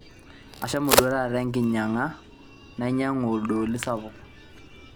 ashomo duo taata enkinyang'a nainyaku oldooli sapuk